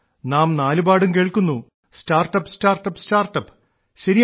നാം നാലുപാടും കേൾക്കുന്നു സ്റ്റാർട്ടപ് സ്റ്റാർട്ടപ് സ്റ്റാർട്ടപ്